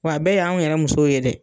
Wa bɛɛ y'an yɛrɛ muso ye dɛ!